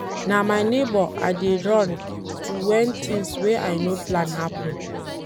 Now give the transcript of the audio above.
Na my nebor I dey run to wen tins wey I no plan happen.